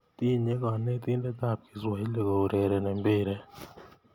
tinye konetinte ab kiswahili kourereni mpiret